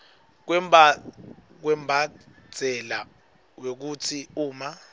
kwembandzela wekutsi uma